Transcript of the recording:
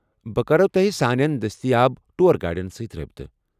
بہٕ کرو تۄہہِ سٲنِین دٔستیاب ٹوٗر گائیڈن سۭتۍ رٲبطہٕ۔